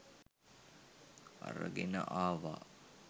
අරගෙන ආවා